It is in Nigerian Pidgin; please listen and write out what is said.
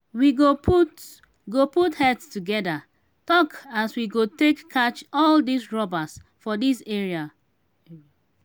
we go put go put head together talk as we go take catch all dis robbers for dis area.